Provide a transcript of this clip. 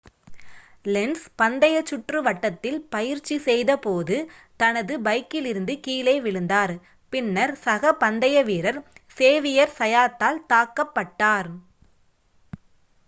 lens பந்தய சுற்று வட்டத்தில் பயிற்சி செய்தபோது தனது பைக்கிலிருந்து கீழே விழுந்தார் பின்னர் சக பந்தய வீரர் சேவியர் சயாத்தால் தாக்கப்பட்டார்